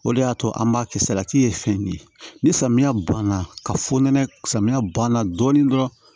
O de y'a to an b'a kɛ salati ye fɛn de ye ni samiya banna ka fɔ nɛnɛ samiya banna dɔɔni dɔrɔn